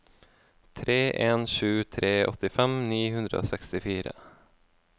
tre en sju tre åttifem ni hundre og sekstifire